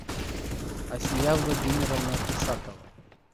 асия владимировна исакова